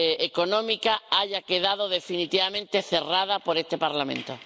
económica, haya quedado definitivamente cerrado por este Parlamento.